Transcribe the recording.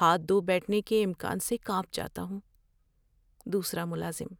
ہاتھ دھو بیٹھنے کے امکان سے کانپ جاتا ہوں۔ (دوسرا ملازم)